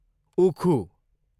उखु